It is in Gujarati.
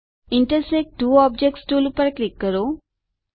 ઇન્ટરસેક્ટ ત્વો ઓબ્જેક્ટ્સ ટુલ પર ક્લિક કરો